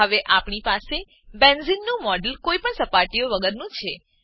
હવે આપણી પાસે બેન્ઝેને બેન્ઝીન નું મોડેલ કોઈપણ સપાટીઓ વગરનું છે